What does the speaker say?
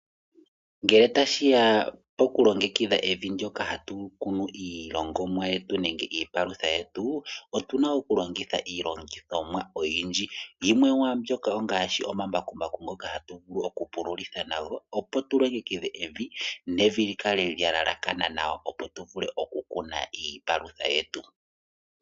Ngele tashi ya pokulongekidha evi ndyoka hatu kunu iilongomwaa nenge iipalutha yetu otu na okulongitha iilongithomwa oyindji. Yimwe yomwaa mbyoka ongaashi omambakumbaku ngoka hatu vulu okupululitha nago, opo tu longekidhe evi nevi li kale lya elekana nawa, opo tu vule okukuna iipalutha yetu.